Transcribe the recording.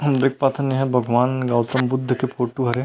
हम देख पाथन यह भगवान गौतम बुद्ध के फोटो हरे--